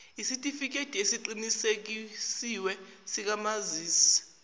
yesitifikedi esiqinisekisiwe sikamazisi